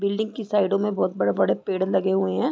Building के साइडो में बोहत बड़े-बड़े पेड़ लगे हुए हैं।